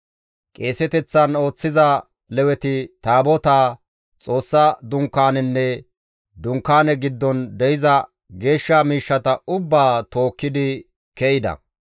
Qeeseteththan ooththiza Leweti Taabotaa, Xoossaa Dunkaanenne Dunkaaneza giddon de7iza geeshsha miishshata ubbaa tookkidi ke7ida.